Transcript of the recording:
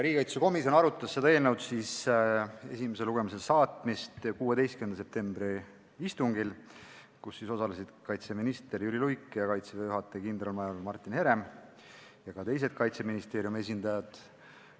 Riigikaitsekomisjon arutas selle eelnõu esimesele lugemisele saatmist 16. septembri istungil, kus osalesid kaitseminister Jüri Luik, Kaitseväe juhataja kindralmajor Martin Herem ja teised Kaitseministeeriumi esindajad.